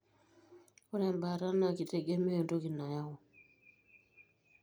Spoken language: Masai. ore embaata na kitegemea entoki nayau.